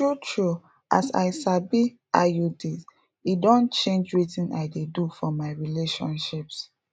true true as i sabi iuds e don change wetin i dey do for my relationships